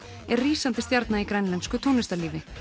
er rísandi stjarna í grænlensku tónlistarlífi